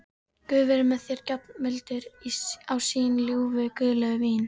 Guð veri með þér, gjafmildur á sín ljúfu, guðlegu vín.